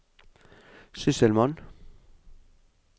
sysselmann